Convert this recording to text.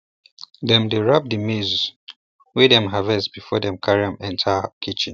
dem dey wrap di maize wey dem harvest before dem carry am enter kitchen